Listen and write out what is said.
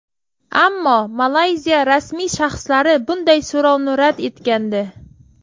Ammo Malayziya rasmiy shaxslari bunday so‘rovni rad etgandi.